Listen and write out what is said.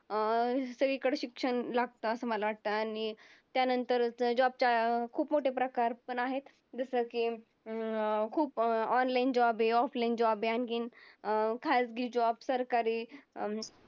अं सगळीकड शिक्षण लागतं असं मला वाटतं आणि त्यानंतर job च्या खूप मोठे प्रकार पण आहेत. जसं की अं खूप online job हे, offline job हे आणखीन अं खाजगी job सरकारी